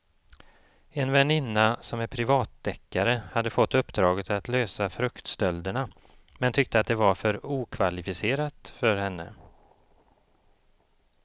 En väninna som är privatdeckare hade fått uppdraget att lösa fruktstölderna men tyckte att det var för okvalificerat för henne.